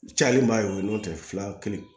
Cayalen ba ye o ye n'o tɛ fila kelen